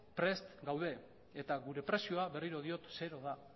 prest gaude eta gure prezioa berriro diot zero da